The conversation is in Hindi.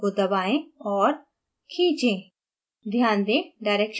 mouse के बाएं button को दबाएंऔर खींचें